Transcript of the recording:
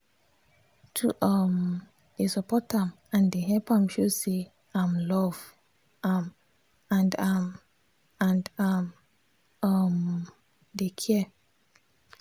to um dey support am and dey help am show say im love am and am and im um dey care.